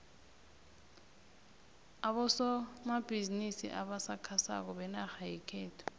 abosomabhizimisi abasakhasako benarha yekhethu